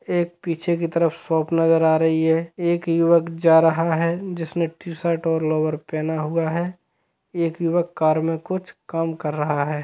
एक पीछे की तरफ शॉप नजर आ रही है एक युवक जा रहा है जिसने टीशर्ट और लोवर पहना हुआ है एक युवक कार में कुछ काम कर रहा हैं ।